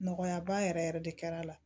Nɔgɔya ba yɛrɛ yɛrɛ de kɛra a la